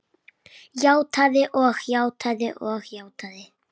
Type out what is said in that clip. Játað og játað og játað.